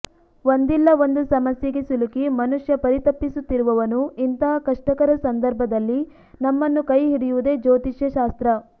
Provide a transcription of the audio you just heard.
ಒಂದಿಲ್ಲ ಒಂದು ಸಮಸ್ಯೆಗೆ ಸಿಲುಕಿ ಮನುಷ್ಯ ಪರಿತಪಿಸುತ್ತಿರುವವನು ಇಂತಹ ಕಷ್ಟಕರ ಸಂದರ್ಭದಲ್ಲಿ ನಮ್ಮನ್ನು ಕೈ ಹಿಡಿಯುವುದೇ ಜ್ಯೋತಿಷ್ಯ ಶಾಸ್ತ್ರ